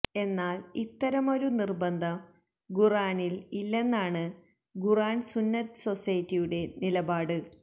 എന്നാല് ഇത്തരമൊരു നിര്ബന്ധം ഖുര്ആനില് ഇല്ലെന്നാണ് ഖുര്ആന് സുന്നത്ത് സൊസൈറ്റിയുടെ നിലപാട്